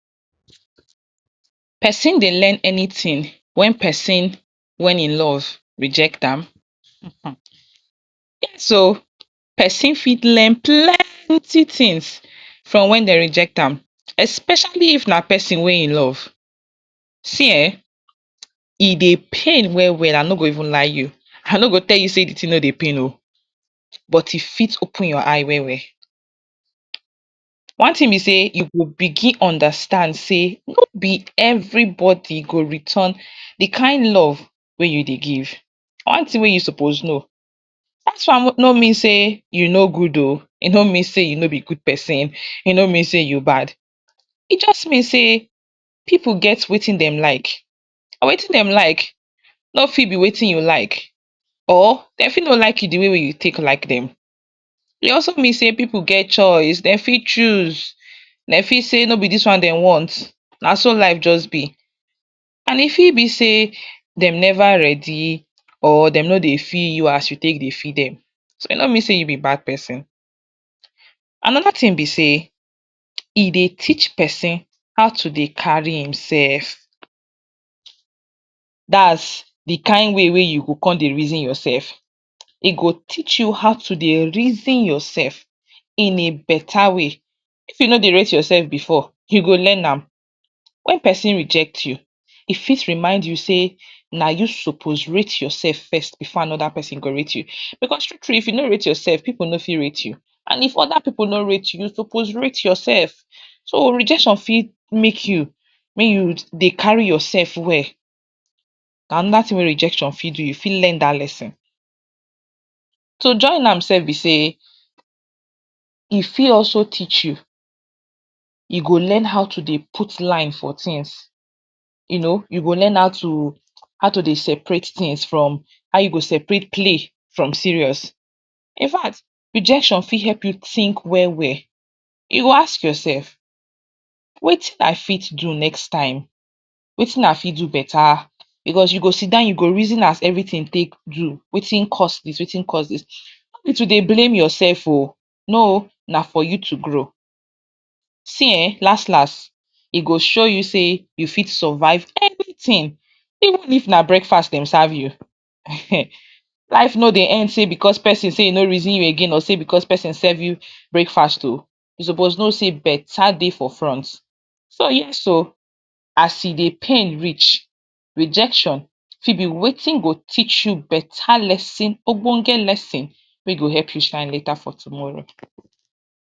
Person Dey learn anything when person wey him love reject am so person fit learn plentiful things from when dem reject am especially if na person wey him love see[um]e Dey pain well well I no go even lie you I no go tell you sey de thing no Dey pain oo but you fit open your eyes well well one thing b sey you go begin understand sey no be every body go return de kin love wey you Dey give one thing wey you suppose know dat one no mean sey you no good ooo e no mean sey you no be good person e no mean sey you bad e just mean sey pipu get wetin dem like and wetin dem like no fit be wetin you like or dem fit no like you de way wey you like dem e also mean sey people get choice dem fit choose sey no be dis one dem want na so life just be and e fit be sey dem never ready or Dem no Dey feel you as you take Dey feel dem so e no mean sey you be bad person Anoda thing be sey e Dey teach person how to Dey carry im self dats d kin way wey you go come Dey reason your self e go teach you how to Dey reason yourself in a betta way if you no Dey rate yourself you go learn am e fit remind you sey na you suppose rate yourself first before anoda person go rate you because true true if you no rate yourself pipu no fit rate you so if oda pipu no rate you you suppose rate yourself so rejection fit make you make you Dey carry yourself well anoda thing wey rejection fit do you fit learn dat lerson so join am sef b sey e fit also teach you you go learn how to Dey put line for things you go learn how to how to Dey separate things from how you go separate play from serious infact rejection fit help you think well well you go ask yourself wetin I fit do next time wetin I fit do betta you go sitdown you go reason am take know wetin course dis wetin course dis no too Dey blame ooo yourself no na for you to grow see[um]last last e go show you sey you fit survive anything even if na breakfast dem serve you ehen life no be end because sey Person sey im no reason you again so because person serve you breakfast ooo you suppose know sey betta Dey for front so you so as e dey pain reach rejection e be wetin go teach you betta lerson ogbonge lerson wey go help you shine later for tomorrow.